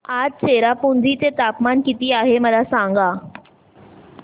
आज चेरापुंजी चे तापमान किती आहे मला सांगा